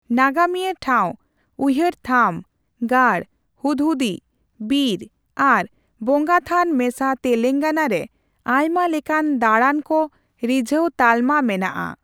ᱱᱟᱜᱟᱢᱤᱭᱟᱹ ᱴᱷᱟᱣ, ᱩᱭᱦᱟᱹᱨ ᱛᱷᱟᱢ, ᱜᱟᱲ, ᱦᱩᱫᱦᱩᱫᱤ, ᱵᱤᱨ, ᱟᱨ ᱵᱚᱸᱜᱟᱛᱷᱟᱱ ᱢᱮᱥᱟ ᱛᱮᱞᱮᱝᱜᱟᱱᱟ ᱨᱮ ᱟᱭᱢᱟ ᱞᱮᱠᱟᱱ ᱫᱟᱲᱟᱱ ᱠᱚ ᱨᱤᱡᱷᱟᱹᱣ ᱛᱟᱞᱢᱟ ᱢᱮᱱᱟᱜᱼᱟ ᱾